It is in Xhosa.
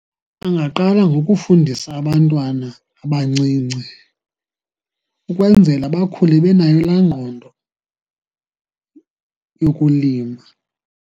Angaqala ngokufundisa abantwana abancinci, ukwenzela bakhule benayo laa ngqondo yokulima.